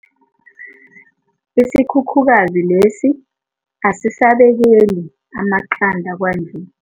Isikhukhukazi lesi asisabekeli amaqanda kwanje.